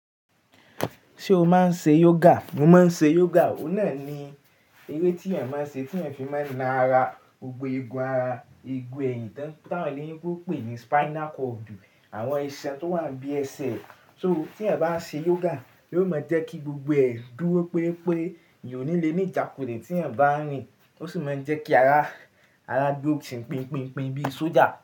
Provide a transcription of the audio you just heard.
Ṣé o máa ń ṣe yoga? Mo máa ń ṣe yoga. Ó náà ni eré tí èèyàn máa ń ṣe, tí èèyàn fi máa ń na ara, gbogbo igun ara, igun ẹ̀yìn tí àwọn eléyìbo pè ní spinal cord, àwọn isan tó wà bí ẹsẹ̀. So tí ẹeyan bá ń ṣe yoga, yóò máa jẹ́ kí gbogbo ẹ̀ duró pé pé èèyàn ò ní lè ní ìjákule tì ẹeyan bá n rìn, ó sì máa ń jẹ́ kí ara, ara duró sì pínpínpín bí sójà.